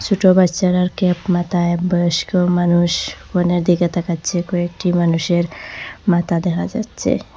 ছোট বাচ্চারার ক্যাপ মাথায় বয়স্ক মানুষ কনের দিকে তাকাচ্ছে কয়েকটি মানুষের মাথা দেখা যাচ্ছে।